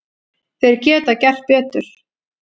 Þeir geta gert betur.